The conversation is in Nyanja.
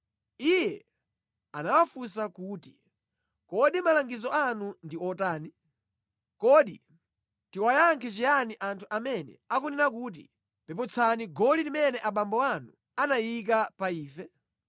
Iye anawafunsa kuti, “Kodi malangizo anu ndi otani? Kodi tiwayankhe chiyani anthu amene akunena kuti, ‘Peputsani goli limene abambo anu anayika pa ife?’ ”